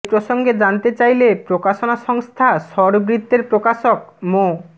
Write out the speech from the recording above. এ প্রসঙ্গে জানতে চাইলে প্রকাশনা সংস্থা স্বরবৃত্তের প্রকাশক মো